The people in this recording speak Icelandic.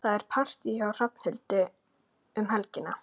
Það er partí hjá Hrafnhildi um helgina.